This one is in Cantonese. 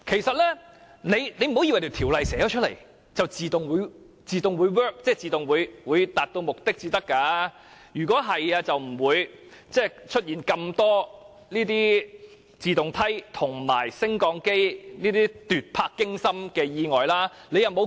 政府不要以為在法例中列明條文便會自動達到目的，如果是這樣，便不會出現那麼多涉及自動梯及升降機的奪魄驚心意外。